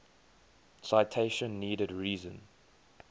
citation needed reason